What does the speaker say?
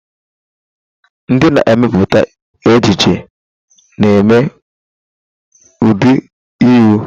Ndị na-emepụta ejiji na-eme ụdị uwe.